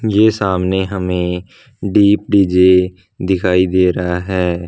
ये सामने हमें डी_पि_जे दिखाई दे रहा है।